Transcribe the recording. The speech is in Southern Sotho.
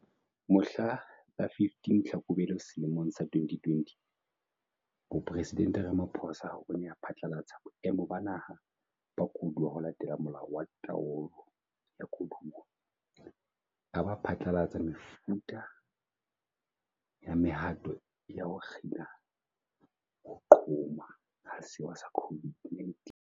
Mohla la 15 Tlhakubele selemong sa 2020, Mopresidente Ramaphosa o ne a phatlalatse Boemo ba Naha ba Koduwa ho latela Molao wa Taolo ya Koduwa, a ba a phatlalatsa mefutafuta ya mehato ya ho kgina ho qhoma ha sewa sa COVID-19.